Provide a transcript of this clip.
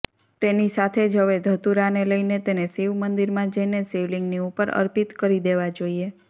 તેની સાથે જ હવે ધતૂરાને લઇને તેને શિવમંદિરમાં જઇને શિવલિંગની ઉપર અર્પિત કરી દેવા જોઇએ